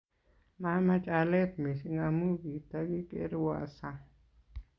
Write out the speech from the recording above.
Mamach alet mising amu kitakikerwo sang